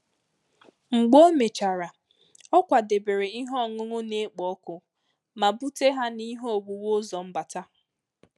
Mgbe o mechara, ọ kwadebere ihe ọṅụṅụ na-ekpo ọkụ ma bute ha n’ihe owuwu ụzọ mbata.